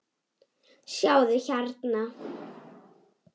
Sjáðu hérna.